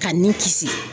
Ka ni kisi